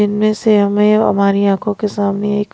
इनमें से हमें हमारी आंखों के सामने एक--